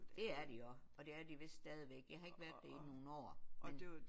Det er de også og det er de vist stadigvæk jeg har ikke været der i nogle år